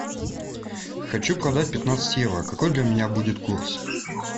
хочу продать пятнадцать евро какой для меня будет курс